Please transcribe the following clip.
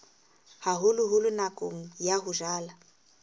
haholoholo nakong ya ho jala